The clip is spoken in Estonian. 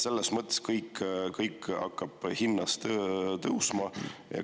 See kõik hakkab hinnas.